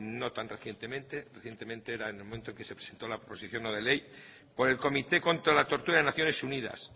no tan recientemente recientemente era en el momento en el que se presentó la proposición no de ley por el comité contra la tortura de naciones unidas